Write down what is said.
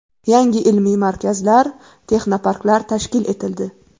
Yangi ilmiy markazlar, texnoparklar tashkil etildi.